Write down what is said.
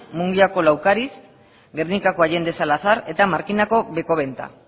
mungiako laukariz gernikako allende salazar eta markinako bekobenta